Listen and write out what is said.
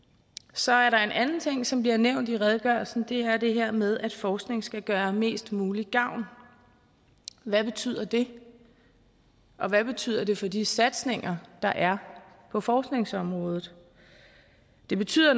så er der en anden ting som bliver nævnt i redegørelsen det er det her med at forskning skal gøre mest mulig gavn hvad betyder det og hvad betyder det for de satsninger der er på forskningsområdet det betyder